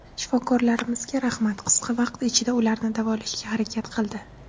Shifokorlarimizga rahmat, qisqa vaqt ichida ularni davolashga harakat qildi.